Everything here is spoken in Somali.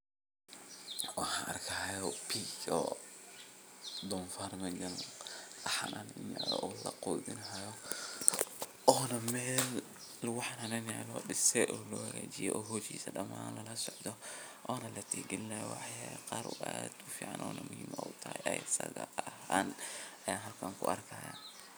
Waxan arkihayo( pig) donfar mejan lagujinahayo one Mel laguhananeyo lodise o lohagajiye o hoshisa daman lalasocdo one ladihgilinahayo waxyalaha qar o add ufcn oy na muhiim utahay eysatha ahan ayan halkan kuarkihayaa